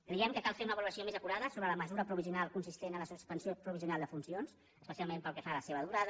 creiem que cal fer una valoració més acurada sobre la mesura provisional consistent en la suspensió provisional de funcions especialment pel que fa a la seva durada